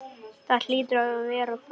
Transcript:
Það hlýtur að vera þetta.